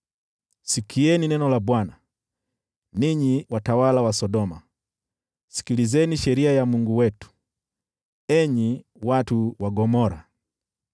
Sikieni neno la Bwana , ninyi watawala wa Sodoma; sikilizeni sheria ya Mungu wetu, enyi watu wa Gomora!